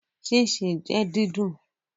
Chin gban jẹ sna didùn